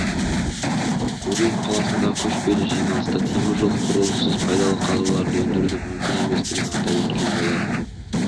гурьев қаласындағы көшпелі жиналыста темір жол құрылысынсыз пайдалы қазбаларды өндірудің мүмкін еместігін атап өткен болатын